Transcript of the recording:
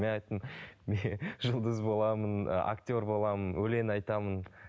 мен айттым жұлдыз боламын ы актер боламын өлең айтамын